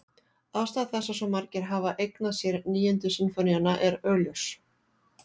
Ástæða þess að svo margir hafa eignað sér Níundu sinfóníuna er augljós.